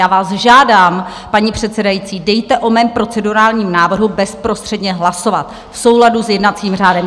Já vás žádám, paní předsedající, dejte o mém procedurální návrhu bezprostředně hlasovat v souladu s jednacím řádem.